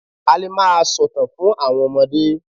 A lè máa sòtàn fún àwọn ọmọde.